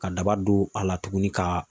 Ka daba don a la tuguni ka